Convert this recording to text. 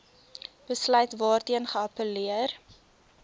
besluit waarteen geappelleer